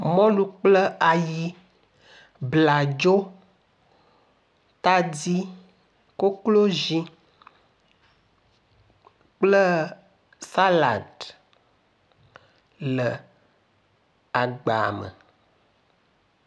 Mɔlu kple ayi, bladzo, tadi, koklozi kple salad le agba me.